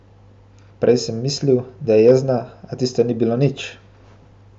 Prej sem mislil, da je jezna, a tisto ni bilo nič.